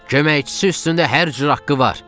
Köməkçisi üstündə hər cür haqqı var!